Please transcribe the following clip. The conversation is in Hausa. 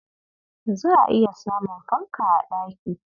Za'a iya samun fanka a ɗaki.